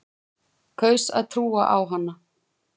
Kaus að trúa á hana.